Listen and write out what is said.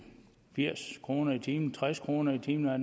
firs kroner i timen tres kroner i timen er